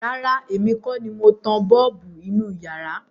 Rárá, èmi kọ́ ni mo tan bọ́ọ̀bù inú iyàrá.